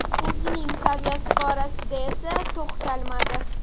O‘zining saviyasi borasida esa to‘xtalmadi.